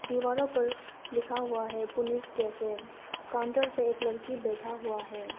दीवारों पर लिखा हुआ है पुनिस कैफे काउंटर पर एक लड़की बैठा हुआ है।